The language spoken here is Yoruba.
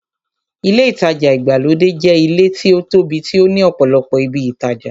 Ilé ìtajà ìgbàlódé jẹ́ ilé tí ó tóbi tí ó ní ọ̀pọ̀lọpọ̀ ibi ìtajà.